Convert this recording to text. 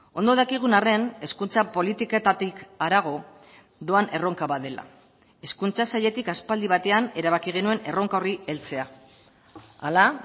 ondo dakigun arren hezkuntza politiketatik harago doan erronka bat dela hezkuntza sailetik aspaldi batean erabaki genuen erronka horri heltzea hala